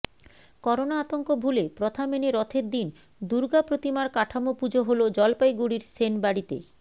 corona আতঙ্ক ভুলে প্রথা মেনে রথের দিন দুর্গা প্রতিমার কাঠামো পুজো হল জলপাইগুড়ির সেনবাড়িতে